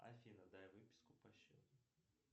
афина дай выписку по счету